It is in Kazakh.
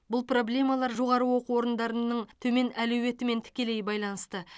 бұл проблемалар жоғары оқу орындарының төмен әлеуетімен тікелей байланысты